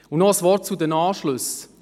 Noch ein Wort zu den Anschlüssen: